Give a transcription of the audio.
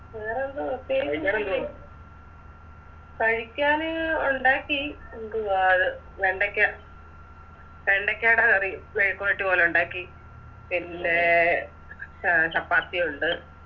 വേറെ എന്തോ കഴിക്കാന് ഒണ്ടാക്കി എന്തുവാ വെണ്ടക്ക വെണ്ടക്കാടെ കറി മെഴുക്കുപെരട്ടി പോലെ ഒണ്ടാക്കി പിന്നെ ചെ ചപ്പാത്തി ഒണ്ട്